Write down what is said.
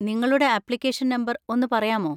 നിങ്ങളുടെ application number ഒന്ന് പറയാമോ?